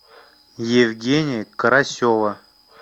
евгения карасева